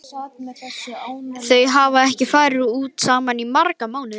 Þau hafa ekki farið út saman í marga mánuði.